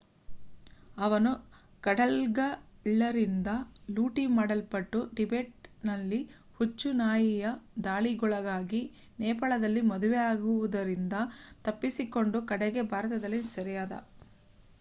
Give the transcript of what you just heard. ಅವನು ಕಡಲ್ಗಳ್ಳರಿಂದ ಲೂಟಿ ಮಾಡಲ್ಪಟ್ಟು ಟಿಬೆಟ್‌ನಲ್ಲಿ ಹುಚ್ಚು ನಾಯಿಯ ದಾಳಿಗೊಳಗಾಗಿ ನೇಪಾಳದಲ್ಲಿ ಮದುವೆಯಾಗುವುದರಿಂದ ತಪ್ಪಿಸಿಕೊಂಡು ಕಡೆಗೆ ಭಾರತದಲ್ಲಿ ಸೆರೆಯಾದ